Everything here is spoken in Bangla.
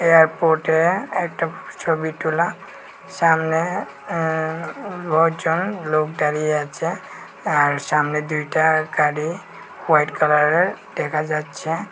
এয়ারপোর্টে একটা ছবি তোলা সামনে অ্যা নজন লোক দাঁড়িয়ে আছে আর সামনে দুইটা গাড়ি হোয়াইট কালারের দেখা যাচ্ছে।